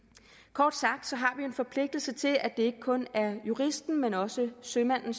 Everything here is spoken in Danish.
kort sagt har vi en forpligtigelse til at det ikke kun er juristen men også sømanden